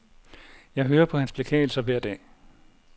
Jeg hører på hans beklagelser hver dag.